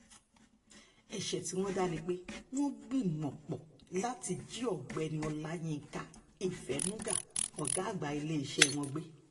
ẹ̀ṣẹ̀ tí wọ́n dá ni pé wọ́n gbìmọ̀-pọ̀ láti jí ọ̀gbẹ́ni ọláyinka ìfẹnuga ọ̀gá àgbà iléeṣẹ́ wọn gbé